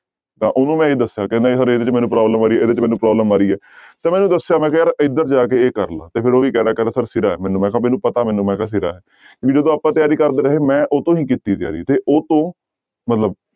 ਤਾਂ ਉਹਨੂੰ ਮੈਂ ਇਹੀ ਦੱਸਿਆ ਕਹਿੰਦਾ ਸਰ ਇਹਦੇ ਵਿੱਚ ਮੈਨੂੰ problem ਆ ਰਹੀ ਹੈ ਇਹਦੇ ਚ ਮੈਨੂੰ problem ਆ ਰਹੀ ਹੈ ਤਾਂ ਮੈਂ ਦੱਸਿਆ ਮੈਂ ਕਿਹਾ ਯਾਰ ਇੱਧਰ ਜਾ ਕੇ ਇਹ ਕਰ ਲਾ ਤੇ ਫਿਰ ਉਹ ਵੀ ਕਹਿੰਦਾ ਕਹਿੰਦਾ ਸਰ ਸਿਰਾ ਹੈ, ਮੈਨੂੰ ਮੈਂ ਕਿਹਾ ਮੈਨੂੰ ਪਤਾ ਮੈਨੂੰ ਮੈਂ ਕਿਹਾ ਸਿਰਾ ਵੀ ਜਦੋਂ ਆਪਾਂ ਤਿਆਰੀ ਕਰਦੇ ਰਹੇ, ਮੈਂ ਉਹ ਤੋਂ ਹੀ ਕੀਤੀ ਤਿਆਰੀ ਤੇ ਉਹ ਤੋਂ ਮਤਲਬ